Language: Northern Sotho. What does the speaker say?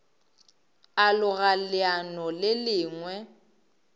a loga leano le lengwe